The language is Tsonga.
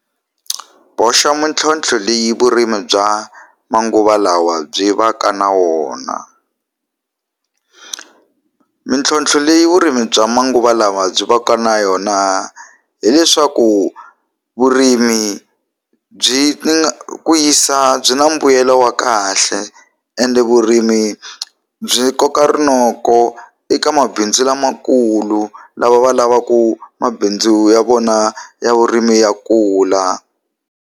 Boxa mitlhotlho leyi vurimi bya manguva lawa byi va ka na wona mintlhontlho leyi vurimi bya manguva lawa byi va ka na yona hileswaku vurimi byi ku yisa byi na mbuyelo wa kahle ende vurimi byi koka rinoko eka mabindzu lamakulu lava va lavaku mabindzu ya vona ya vurimi ya kula.